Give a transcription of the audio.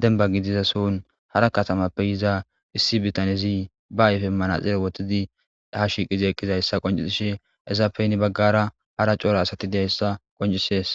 demba gidiza son hara katamappe yiza issi bitanyezi ba ayfemmana xere wotidi ha shiiqizi eqqizayssa qoncisishe ezapeni baggara hara coora asati deyayssa qoncisees